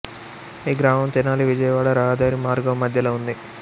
ఈ గ్రామం తెనాలి విజయవాడ రహదారి మార్గము మధ్యలో ఉంది